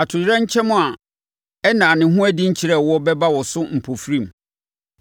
atoyerɛnkyɛm a ɛnnaa ne ho adi nkyerɛɛ wo bɛba wo so mpofirim.